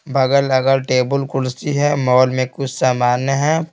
बगल अगर टेबल कुर्सी है मॉल में कुछ सामान्य हैं।